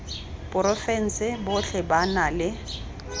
porofense botlhe ba na le